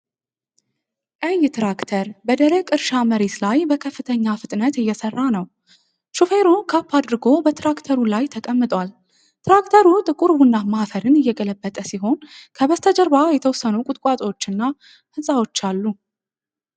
ቀይ ትራክተር በደረቅ እርሻ መሬት ላይ በከፍተኛ ፍጥነት እየሰራ ነው። ሾፌሩ ካፕ አድርጎ በትራክተሩ ላይ ተቀምጧል። ትራክተሩ ጥቁር ቡናማ አፈርን እየገለበጠ ሲሆን ከበስተጀርባ የተወሰኑ ቁጥቋጦዎችና ሕንፃዎች አሉ።